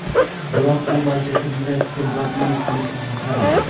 Biroq, u Manchester Yunaytedga murabbiylik qilishni xohlamagan.